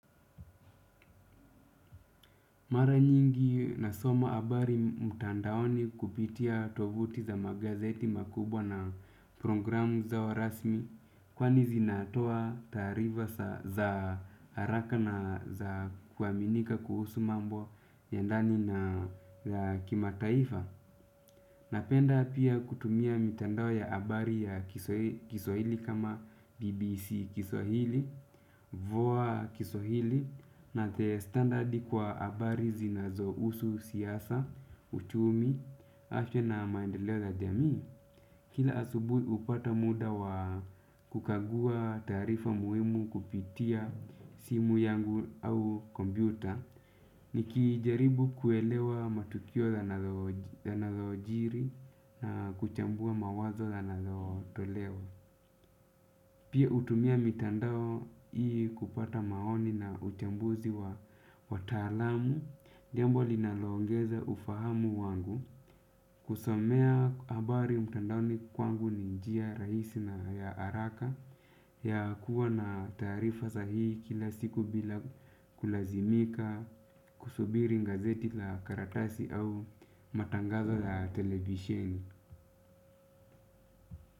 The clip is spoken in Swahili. Mara nyingi nasoma habari mtandaoni kupitia tovuti za magazeti makubwa na programu zao rasmi. Kwani zinatoa taarifa za haraka na zakuaminika kuhusu mambo ya ndani na kima taifa. Napenda pia kutumia mitandao ya habari ya kiswahili kama BBC kiswahili Voa kiswahili na the standardi kwa habari na zinazohusu siasa, uchumi, afya na maendeleo ya jamii. Kila asubuhi hupata muda wa kukagua taarifa muhimu kupitia simu yangu au kompyuta. Nikijaribu kuelewa matukio yanayo jiri na kuchambua mawazo yanayotoleo. Pia hutumia mitandao hii kupata maoni na uchambuzi wa talamu, jambo linalongeza ufahamu wangu, kusomea habari mitandao ni kwangu ninjia rahisi na ya haraka ya kuwa na tarifa za hii kila siku bila kulazimika, kusubiri gazeti la karatasi au matangazo la televisheni.